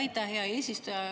Aitäh, hea eesistuja!